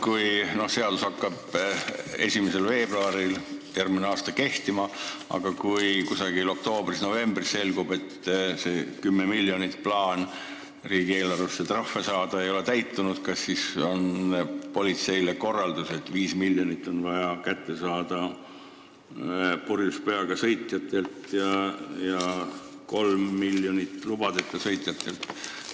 Kui seadus hakkab järgmise aasta 1. veebruaril kehtima, aga kusagil oktoobris-novembris selgub, et plaan 10 miljonit trahviraha riigieelarvesse saada ei ole täitunud, kas siis antakse politseile korraldus, et 5 miljonit on vaja saada purjus peaga sõitjatelt ja 3 miljonit lubadeta sõitjatelt?